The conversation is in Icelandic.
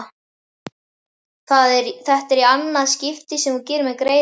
Þetta er í annað skipti sem þú gerir mér greiða